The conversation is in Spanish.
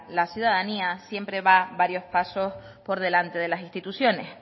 la ciudadanía siempre va varios pasos por delante de las instituciones